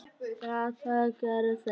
Já, það gera þeir.